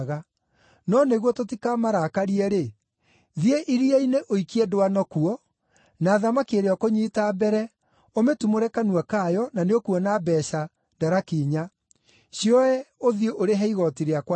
No nĩguo tũtikamarakarie-rĩ, thiĩ iria-inĩ ũikie ndwano kuo, na thamaki ĩrĩa ũkũnyiita mbere, ũmĩtumũre kanua kayo, na nĩũkuona mbeeca, daraki inya; cioe ũthiĩ ũrĩhe igooti rĩakwa na rĩaku.”